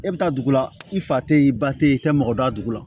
E bɛ taa dugu la i fa tɛ ye i ba tɛ i tɛ mɔgɔ dɔn a dugu la